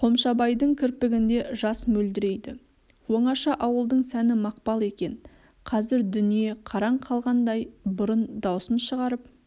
қомшабайдың кірпігінде жас мөлдірейді оңаша ауылдың сәні мақпал екен қазір дүние қараң қалғандай бұрын даусын шығарып